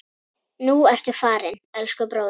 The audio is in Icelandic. Nú ertu farinn, elsku bróðir.